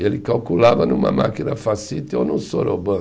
E ele calculava numa máquina, ou num sorobã.